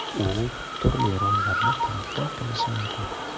U turli rollarni talqin qilishi mumkin.